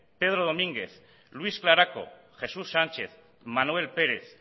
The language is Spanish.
pedro domínguez luis claraco jesús sánchez manuel pérez